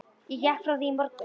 Ég gekk frá því í morgun.